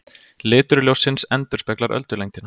Litur ljóssins endurspeglar öldulengdina.